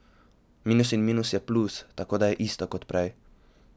Minus in minus je plus, tako da je isto kot prej.